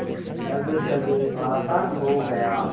अब सब आसान हो गया